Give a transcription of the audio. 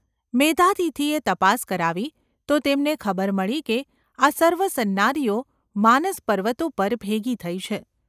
મેધાતિથિએ તપાસ કરાવી તો તેમને ખબર મળી કે આ સર્વ સન્નારીઓ માનસપર્વત ઉપર ભેગી થઈ છે.